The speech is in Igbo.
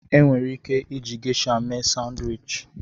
Enwere ike iji Gesha mee Sanwichi.